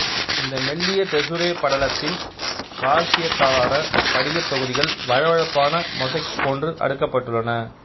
இந்த மெல்லிய தெசுரே படலத்தில் கால்சியத்தாலான படிக தொகுதிகள் வழவழப்பான மொசைக் போன்று அடுக்கப்பட்டுள்ளன